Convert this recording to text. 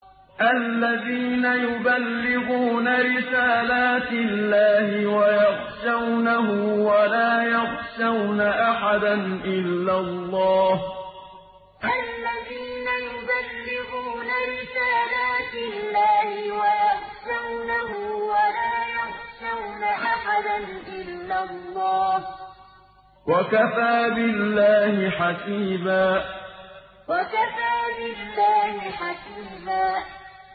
الَّذِينَ يُبَلِّغُونَ رِسَالَاتِ اللَّهِ وَيَخْشَوْنَهُ وَلَا يَخْشَوْنَ أَحَدًا إِلَّا اللَّهَ ۗ وَكَفَىٰ بِاللَّهِ حَسِيبًا الَّذِينَ يُبَلِّغُونَ رِسَالَاتِ اللَّهِ وَيَخْشَوْنَهُ وَلَا يَخْشَوْنَ أَحَدًا إِلَّا اللَّهَ ۗ وَكَفَىٰ بِاللَّهِ حَسِيبًا